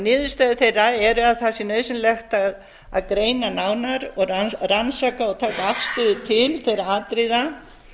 niðurstöður þeirra eru að það sé nauðsynlegt að greina nánar og rannsaka og taka